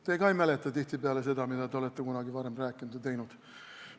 Teie ka ei mäleta tihtipeale seda, mida te olete kunagi varem rääkinud või teinud.